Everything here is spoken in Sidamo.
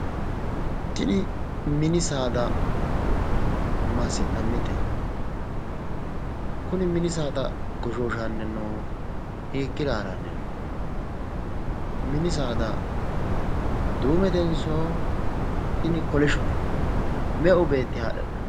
Tini mini saada massi'nannite? Kuni mini saada goshooshannni noohu hiikka haare haranni no? Mini saada duumetenso tini kolishshote? Meu beetti haadhe hadhanni no?